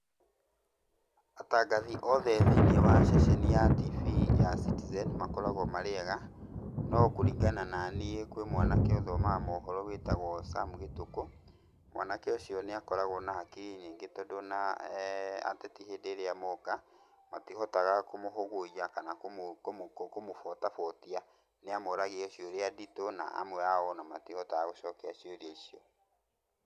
Atangathi othe thĩiniĩ wa ceceni ya TV ya Citizen makoragwo marĩ ega, no kũringana na niĩ kwĩ mwanake ũthomaga mohoro wĩtagwo Sam Gĩtukũ, mwanake ũcio nĩakoragwo na akiri nyingĩ, tondũ ona eeh ateti hĩndĩ ĩrĩa moka, matihotaga kũmũhũgũiya kana kũmũ kũmũ kũmũbotabotia, nĩamoragia ciũria nditũ na amwe ao ona matihotaga gũcokia ciũria icio.